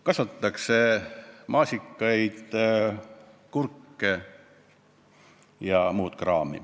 Kasvatatakse maasikaid, kurke ja muud kraami.